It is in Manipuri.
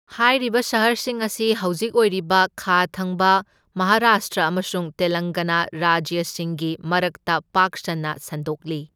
ꯍꯥꯏꯔꯤꯕ ꯁꯍꯔꯁꯤꯡ ꯑꯁꯤ ꯍꯧꯖꯤꯛ ꯑꯣꯏꯔꯤꯕ ꯈꯥ ꯊꯪꯕ ꯃꯍꯥꯔꯥꯁꯇ꯭ꯔ ꯑꯃꯁꯨꯡ ꯇꯦꯂꯪꯒꯥꯅꯥ ꯔꯥꯖ꯭ꯌꯁꯤꯡꯒꯤ ꯃꯔꯛꯇ ꯄꯥꯛ ꯁꯟꯅ ꯁꯟꯗꯣꯛꯂꯤ꯫